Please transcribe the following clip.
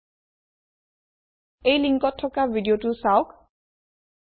httpspoken tutorialorgWhat is a spoken tutorial URLত থকা video চাওক